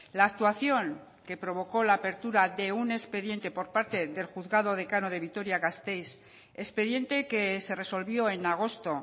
la actuación que provocó la apertura de un expediente por parte del juzgado decano de vitoria gasteiz expediente que se resolvió en agosto